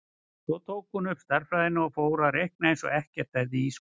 Svo tók hún upp stærðfræðina og fór að reikna eins og ekkert hefði í skorist.